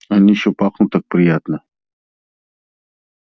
они ещё пахнут так приятно